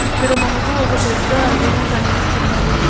ఇక్కడ మనకు ఒక పెద్ద రూమ్ కనిపిస్తున్నది.